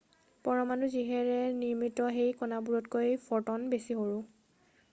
পৰমাণু যিহেৰে নিৰ্মিত সেই কণাবোৰতকৈ ফটন বেছি সৰু